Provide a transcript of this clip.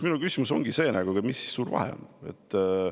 Minu küsimus ongi see, et mis see suur vahe siin on.